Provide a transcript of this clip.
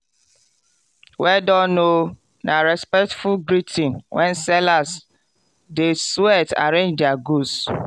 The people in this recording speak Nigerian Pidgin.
“well done o” na respectful greeting when sellers dey sweat arrange their goods.